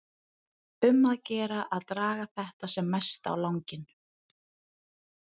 Um að gera að draga þetta sem mest á langinn.